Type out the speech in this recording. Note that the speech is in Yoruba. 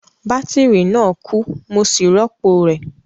Bátírì náà kú, mo sì rọ́pò rẹ̀